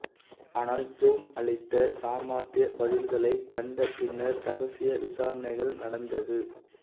ஆனால் ஜோன் அளித்த சாமார்த்திய பதில்க்ளைக் கண்டப் பின்னர் ரகசிய விசாரணைகள் நடந்தது